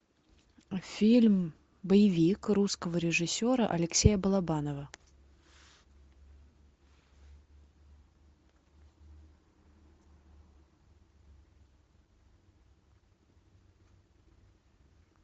фильм боевик русского режиссера алексея балабанова